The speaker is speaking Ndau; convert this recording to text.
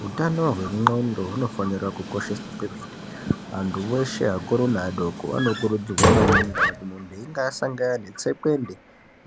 Hutano hwendxondo hunofanira kukosheswa kwemene. Antu veshe akuru nevadoko anokurudzirwa maningi kana kuti muntu einga asangana netsekwende.